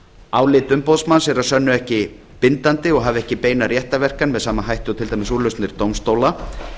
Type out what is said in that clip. álit umboðsmanns er að sönnu ekki bindandi og hefur ekki beina réttarverkan með sama hætti og til dæmis úrlausnir dómstóla